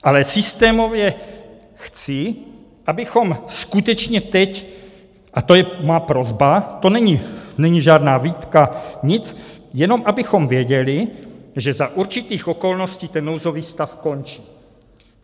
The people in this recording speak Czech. Ale systémově chci, abychom skutečně teď - a to je má prosba, to není žádná výtka, nic - jenom abychom věděli, že za určitých okolností ten nouzový stav končí.